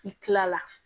I kilala